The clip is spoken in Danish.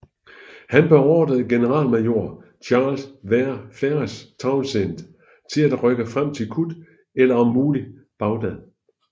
Han beordrede generalmajor Charles Vere Ferrers Townshend til at rykke frem til Kut eller om muligt Bagdad